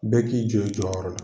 Bɛɛ k'i jɔ i jɔyɔrɔ la.